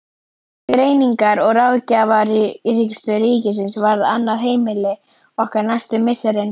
Greiningar- og ráðgjafarstöð ríkisins varð annað heimili okkar næstu misserin.